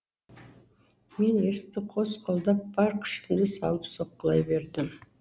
мен есікті қос қолдап бар күшімді салып соққылай бердім